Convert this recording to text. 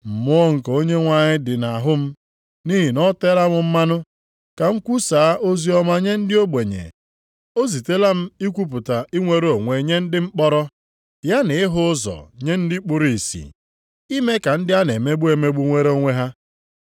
“Mmụọ nke Onyenwe anyị dị nʼahụ m, nʼihi na o teela m mmanụ ka m kwusaa oziọma nye ndị ogbenye. O zitela m ikwupụta inwere onwe nye ndị mkpọrọ, ya na ịhụ ụzọ nye ndị kpuru ìsì, ime ka ndị a na-emegbu emegbu nwere onwe ha.